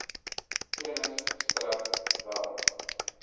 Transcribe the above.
kennis strek wel